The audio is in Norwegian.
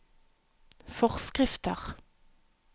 forskrifter